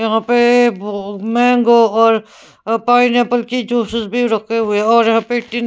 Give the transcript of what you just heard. यहाँ पे बो मैंगो और पाइनएप्पल की ज्यूसेस भी रखे हुए और यहाँ पे टी --